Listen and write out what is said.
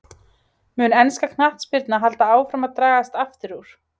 Mun ensk knattspyrna halda áfram að dragast aftur úr?